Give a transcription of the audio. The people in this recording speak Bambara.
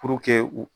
Puruke u